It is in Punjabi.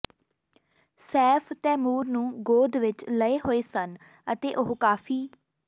ਸੈਫ ਤੈਮੂਰ ਨੂੰ ਗੋਦ ਵਿੱਚ ਲਏ ਹੋਏ ਸਨ ਅਤੇ ਉਹ ਕਾਫ਼ੀ